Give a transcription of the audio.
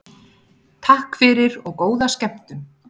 Takk fyrir og góða skemmtun.